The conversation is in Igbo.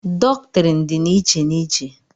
dọktrịn dị n'iche n'iche